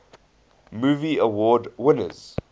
movie award winners